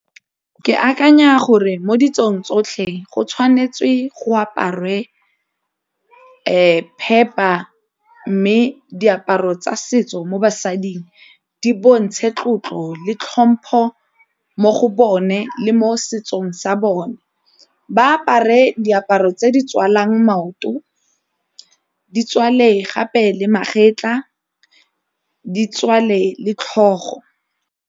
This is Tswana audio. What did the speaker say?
Ke akanya gore mo ditsong tsotlhe go tshwanetse go aparwe phepa mme diaparo tsa setso mo basading di bontshe tlotlo le tlhompho mo go bone le mo setsong sa bone, ba apare diaparo tse di tswalang maoto, di tswale gape le magetla, di tswale le tlhogo.